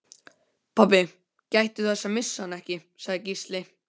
Pabbi, gættu þess að missa hana ekki, sagði Gísli.